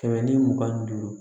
Kɛmɛ ni mugan ni duuru